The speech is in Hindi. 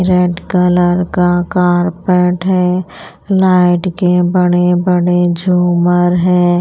रेड कलर का कारपेट है लाइट के बड़े बड़े झूमर हैं।